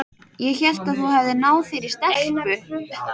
Ég hélt að þú hefðir náð þér í stelpu.